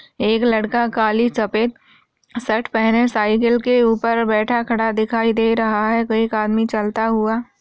एक लड़का काली सफ़ेद शर्ट पहने साइकिल के ऊपर बैठा खड़ा दिखाई दे रहा है एक आदमी चलता हुआ।